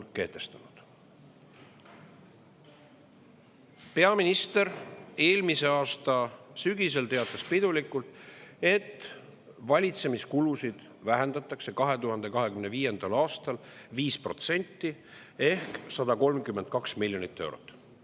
Peaminister eelmise aasta sügisel teatas pidulikult, et valitsemiskulusid vähendatakse 2025. aastal 5% ehk 132 miljoni euro võrra.